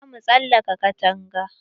Zamu tsalaka katanga.